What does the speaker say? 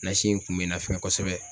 in kun bɛ n nafɛ kosɛbɛ